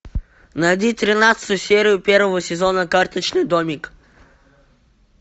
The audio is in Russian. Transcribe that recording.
найди тринадцатую серию первого сезона карточный домик